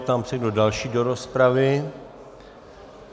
Ptám se, kdo další do rozpravy.